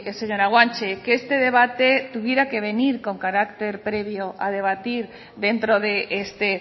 señora guanche que este debate tuviera que venir con carácter previo a debatir dentro de este